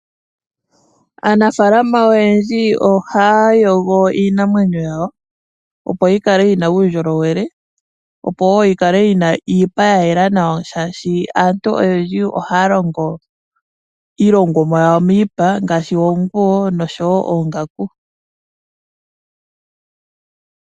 Aanafalama oyendji ohaya yogo iinamwenyo yawo opo yi kale yi na uundjolowele opo wo yi kale yi na iipa ya yela nawa omolwashoka aantu oyendji ohaya longo iilongomwa yawo miipa ngaashi oonguwo noshowo oongaku.